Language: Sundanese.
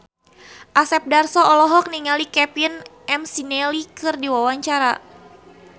Asep Darso olohok ningali Kevin McNally keur diwawancara